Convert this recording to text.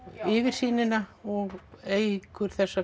yfirsýnina og eykur